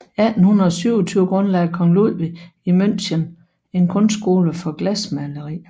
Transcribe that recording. I 1827 grundlagde kong Ludvig I i München en kunstskole for glasmaleri